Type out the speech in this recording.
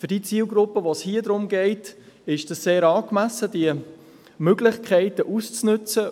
Für die Zielgruppe, um die es hier geht, ist es sehr angemessen, diese Möglichkeiten auszunützen.